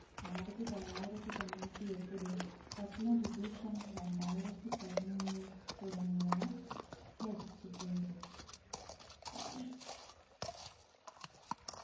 ആയിരത്തി തൊള്ളായിരത്തി തൊണ്ണൂറ്റി എട്ടിലും പത്മവിഭൂഷൺ രണ്ടായിരത്തി പതിനൊന്നിൽ തുടങ്ങിയവ ലഭിച്ചിട്ടുണ്ട്